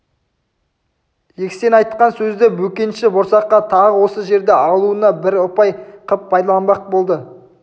жексен айтқан сөзді бөкенші борсаққа тағы осы жерді алуына бір ұпай қып пайдаланбақ болды